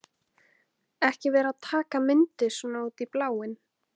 Ekki vera að taka myndir svona út í bláinn!